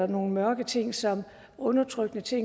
nogle mørke ting som undertrykkelse